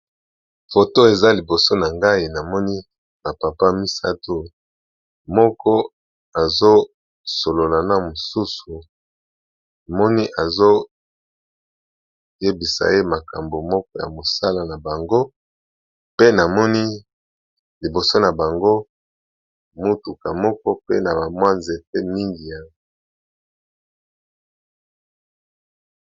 Photo ezaliboso nangai namoni ba papa misatu moko azo solola na mususu tomoni azo yebisa makambo moko ya musala na bango pe namoni liboso na bango mutuka moko na nzete.